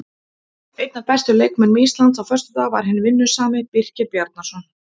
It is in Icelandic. Einn af bestu leikmönnum Íslands á föstudag var hinn vinnusami Birkir Bjarnason.